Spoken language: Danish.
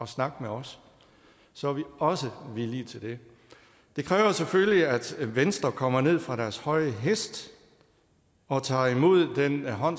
snakke med os så er vi også villige til det det kræver selvfølgelig at venstre kommer ned fra den høje hest og tager imod den hånd